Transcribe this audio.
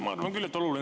Hea minister!